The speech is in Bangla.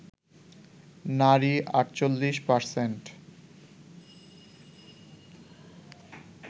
নারী ৪৮%